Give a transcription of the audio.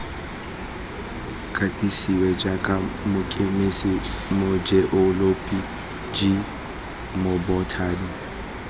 katisiwa jaaka mokemise mojeoloji mobothani